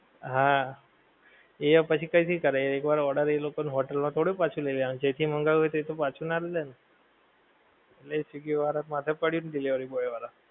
હા, એ પછી ક્યાંથી કરે એક વાર order એ લોકો હોટેલ માં થોડી પાછો લઈ લેવાનો છે. જ્યાંથી મંગાવ્યો છે તે તો પાછો નાં જ લે ને! એટલે એ સ્વીગી વાળાં નાં માથે પડ્યું ને delivery boy વાળાં